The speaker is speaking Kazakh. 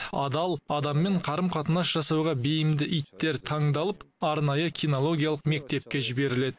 адал адаммен қарым қатынас жасауға бейімді иттер таңдалып арнайы кинологиялық мектепке жіберіледі